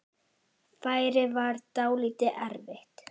Færið var dálítið erfitt.